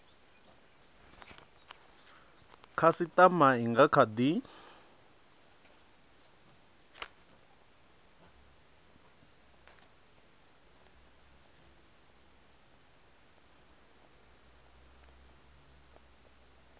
khasitama i nga kha di